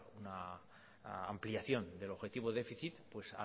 una ampliación del objetivo déficit